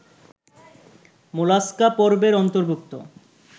mollusca পর্বের অন্তর্ভুক্ত